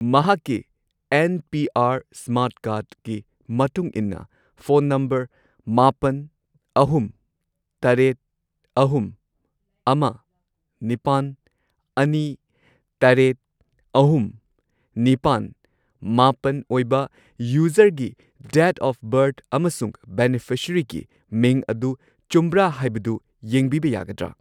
ꯃꯍꯥꯛꯀꯤ N P R smart ꯀꯥꯔꯗꯀꯤ ꯃꯇꯨꯡ ꯏꯟꯅ ꯐꯣꯟ ꯅꯝꯕꯔ ꯃꯥꯄꯟ, ꯑꯍꯨꯝ, ꯇꯔꯦꯠ, ꯑꯍꯨꯝ, ꯑꯃ, ꯅꯤꯄꯥꯟ, ꯑꯅꯤ, ꯇꯔꯦꯠ, ꯑꯍꯨꯝ, ꯅꯤꯄꯥꯜ, ꯃꯥꯄꯜ ꯑꯣꯏꯕ ꯌꯨꯖꯔꯒꯤ ꯗꯦꯠ ꯑꯣꯐ ꯕꯔꯊ ꯑꯃꯁꯨꯡ ꯕꯦꯅꯤꯐꯤꯁꯔꯤꯒꯤ ꯃꯤꯡ ꯑꯗꯨ ꯆꯨꯝꯕ꯭ꯔꯥ ꯍꯥꯏꯕꯗꯨ ꯌꯦꯡꯕꯤꯕ ꯌꯥꯒꯗ꯭ꯔꯥ?